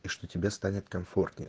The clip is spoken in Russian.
и что тебе станет комфортнее